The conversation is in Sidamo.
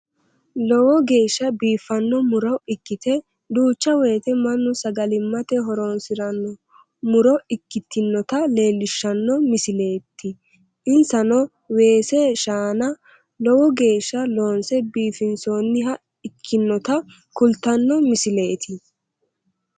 Lowo geeshsha biiffanno mu'ro ikkite duucha woyte mannu sagalimmate horoonsiranno mu'ro ikkitinota leellishshanno misileeti insano weese shaana lowo geeshsha loonse biifinsoonniha ikkinota kultanno misileeti